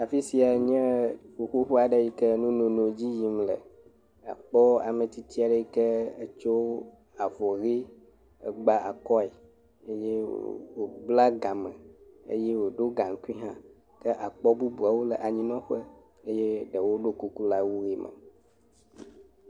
Afi siae nye ƒuƒoƒe aɖe yi ke nunono dzi yim le. Akpɔ ame tsitsi aɖe yike tso avɔ ʋi gba akɔe eye wobla game eye woɖo gaŋkui hã. Ke akpɔ bubuawo le anyinɔƒe eye ɖewo ɖo kuku le awu ʋi me.